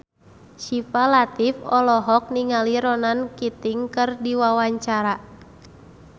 Syifa Latief olohok ningali Ronan Keating keur diwawancara